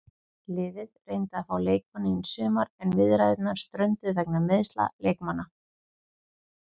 Liðið reyndi að fá leikmanninn í sumar en viðræðurnar strönduðu vegna meiðsla leikmannanna.